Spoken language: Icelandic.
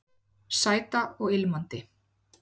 Sæta og ilmandi